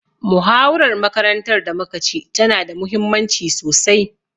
Muhawarar makarantar da muka ci tana da muhimmanci sosai.